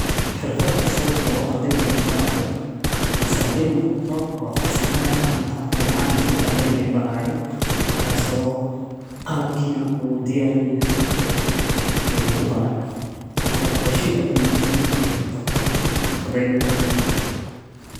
Xirfad usuub oo ardayda la barayo. masaay noqoto farisamada gacanta iyo macalinkii ardayda barayo, marka soo qalbkiina uu diyaar la yahay uu ku barayo, marka washey adu muhiim markay noqoto ardayda dhexdeeda.